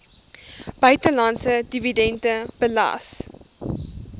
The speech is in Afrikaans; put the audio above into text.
buitelandse dividende belas